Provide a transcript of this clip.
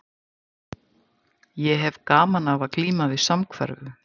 Ég hefi gaman af að glíma við samhverfu.